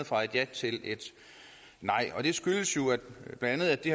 fra et ja til et nej det skyldes jo bla at det